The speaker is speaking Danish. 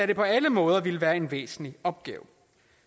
det på alle måder ville være en væsentlig opgave